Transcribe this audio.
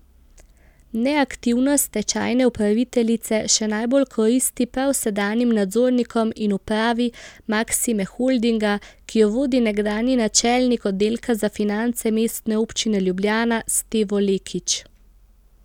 Neaktivnost stečajne upraviteljice še najbolj koristi prav sedanjim nadzornikom in upravi Maksime Holdinga, ki jo vodi nekdanji načelnik oddelka za finance Mestne občine Ljubljana Stevo Lekić.